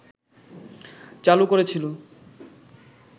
চালু করেছিল